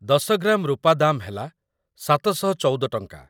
୧୦ gram ରୁପା ଦାମ୍‌ ହେଲା ଟ. ୭୧୪/- ।